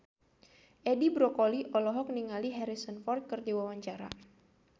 Edi Brokoli olohok ningali Harrison Ford keur diwawancara